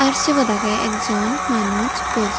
aar sibot aagey ekjon manus buji.